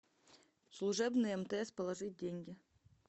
служебный мтс положить деньги